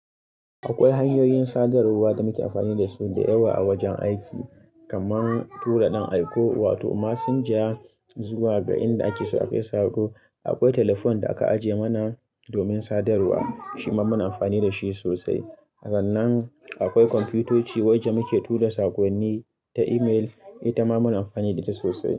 Akwai hanyoyin sadarwa da muke amfani da su da yawa a wajen aiki, kamar tura ɗan aiko wato messenger zuwa ga inda ake so akai sako. Akwai telephone da aka ajiye mana domin sadarwa shima muna amfani da shi sosai. Sannan akwai kwamfutoci wacce muke tura sakonni ta email, ita muna amfani da ita sosai.